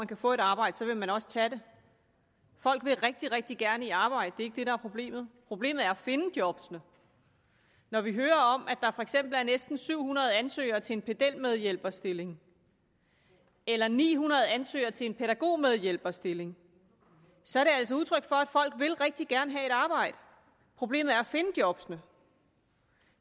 kan få et arbejde vil man også tage det folk vil rigtig rigtig gerne i arbejde det er det er problemet problemet er at finde jobbene når vi hører om at der for eksempel er næsten syv hundrede ansøgere til en pedelmedhjælperstilling eller ni hundrede ansøgere til en pædagogmedhjælperstilling så er det altså udtryk for at folk rigtig gerne vil have et arbejde problemet er at finde jobbene